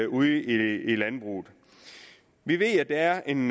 ude i landbruget vi ved at der er en